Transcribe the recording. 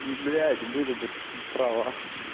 блять были бы права